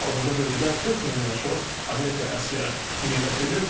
Hazırda bölgədə 40 mindən çox Amerika əsgəri yerləşdirilib.